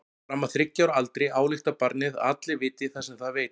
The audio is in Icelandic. Fram að þriggja ára aldri ályktar barnið að allir viti það sem það veit.